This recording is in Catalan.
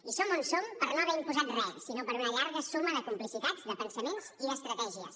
i som on som per no haver imposat re sinó per una llarga suma de complicitats de pensaments i d’estratègies